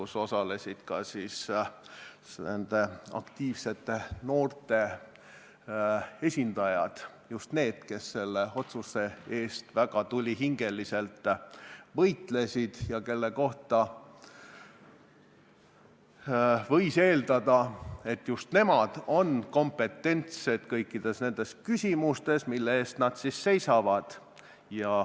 Seal osalesid ka nende aktiivsete noorte esindajad – just need, kes selle otsuse eest väga tulihingeliselt võitlesid ja kelle puhul võis eeldada, et nad on kompetentsed kõikides nendes küsimustes, mille eest nad seisavad.